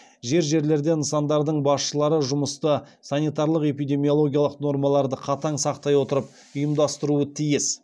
жер жерлерде нысандардың басшылары жұмысты санитарлық эпидемиологиялық нормаларды қатаң сақтай отырып ұйымдастыруы тиіс